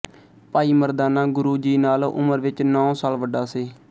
ਭਾਈ ਮਰਦਾਨਾ ਗੁਰੂ ਜੀ ਨਾਲੋਂ ਉਮਰ ਵਿੱਚ ਨੌਂ ਸਾਲ ਵੱਡਾ ਸੀ